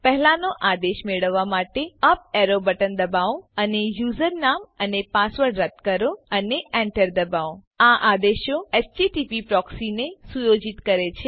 પહેલાનો આદેશ મેળવવાં માટે અપ એરો બટન દબાવો અને યુઝરનામ અને પાસવર્ડ રદ્દ કરો અને એન્ટર દબાવો આ આદેશો એચટીટીપી પ્રોક્સીને સુયોજિત કરે છે